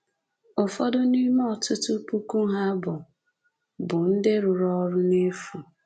Ụfọdụ n’ime ọtụtụ puku ha bụ bụ ndị rụrụ ọrụ n'efu"